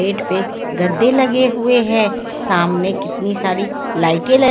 bed पे गद्दे लगे हुए हैं सामने कितनी सारी लाइटें ल--